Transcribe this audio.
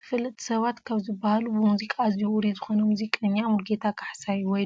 ተፈለጥቲ ሰባት ካብ ዝበሃሉ ብሙዝቃ ኣዝዩ ውሩይ ዝኮነ ሙዚቀኛ ሙሉጌታ ካሕሳይ ወይ